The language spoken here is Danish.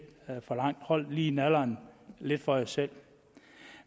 for langt hold lige nallerne lidt for jer selv